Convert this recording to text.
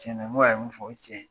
Tiɲɛna n k'a min fɔ o ye tiɲɛ ye .